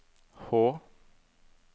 H